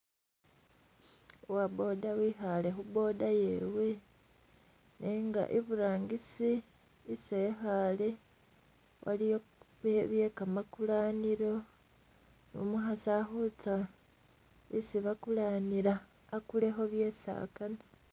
Uwa boda wikhale khu boda yewe nenga iburangisi isi ekhale waliyo byekamakulanilo nu'mukhaasi alikhutsa isi bakulanila akulekho byesi akaana